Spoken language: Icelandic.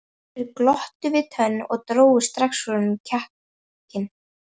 Sumir glottu við tönn og drógu strax úr honum kjarkinn.